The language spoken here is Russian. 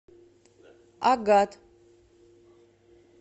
агат